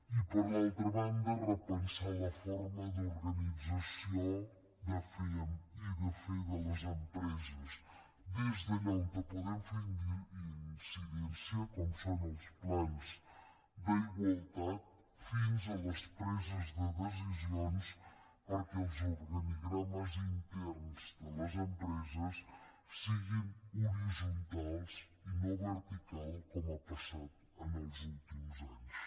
i per l’altra banda repensar la forma d’organització i de fer de les empreses des d’allà on podem fer incidència com són els plans d’igualtat fins a les preses de decisions perquè els organigrames interns de les empreses siguin horitzontals i no verticals com ha passat en els últims anys